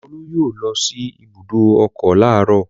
Olú yóò lọ sí ibùdó ọkọ̀ láàárọ̀.